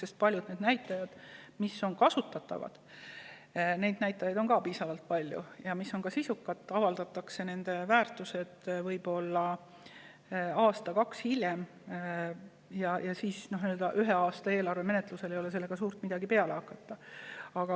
Sest piisavalt palju on ka näitajaid, mis on kasutatavad ja sisukad, aga nende väärtused avaldatakse võib-olla aasta või kaks hiljem, seega ei ole nendega ühe aasta eelarve menetlusel suurt midagi peale hakata.